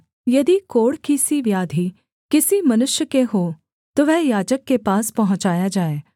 यदि कोढ़ की सी व्याधि किसी मनुष्य के हो तो वह याजक के पास पहुँचाया जाए